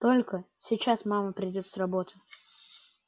только сейчас мама придёт с работы